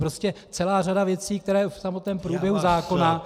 Prostě celá řada věcí, které v samotném průběhu zákona -